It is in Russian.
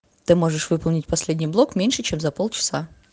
ты можешь выполнить последний блок меньше чем за полчаса